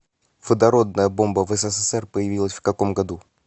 водородная бомба в ссср появилась в каком году